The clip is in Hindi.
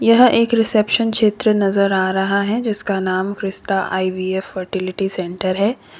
यह एक रिसेप्शन क्षेत्र नजर आ रहा है जिसका नाम क्रिस्टा आई_बी_एफ फर्टिलिटि सेन्टर है।